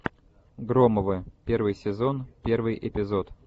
громовы первый сезон первый эпизод